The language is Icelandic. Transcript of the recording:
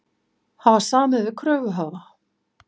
Hafa samið við kröfuhafa